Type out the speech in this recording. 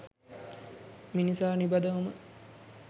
මිනිසා නිබඳවම